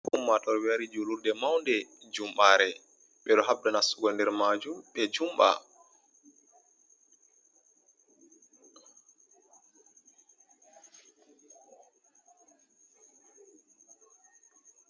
Ummatoore wari julurde maunde, jumɓare. Ɓe ɗo habda nastugo nder majum ɓe jumɓa.